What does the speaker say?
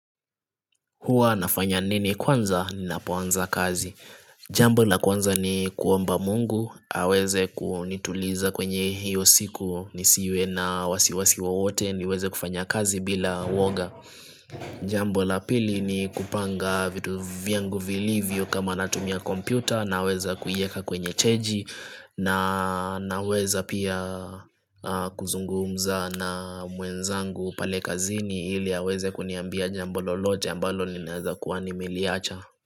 Huwa nafanya nini kwanza ninapoanza kazi Jambo la kwanza ni kuomba Mungu aweze kunituliza kwenye hiyo siku nisiwe na wasiwasi wowote niweze kufanya kazi bila woga Jambo la pili ni kupanga vitu vyangu vilivyo kama natumia kompyuta naweza kuiweka kwenye cheji Naweza pia kuzungumza na mwenzangu pale kazini ili aweze kuniambia jambo lolote ambalo ninawezakuwa nimeliacha.